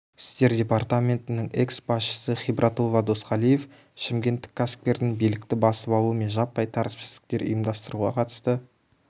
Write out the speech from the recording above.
істер департаментінің экс-басшысы хибратулла досқалиев шымкенттік кәсіпкердің билікті басып алу мен жаппай тәртіпсіздіктер ұйымдастыруға қатысты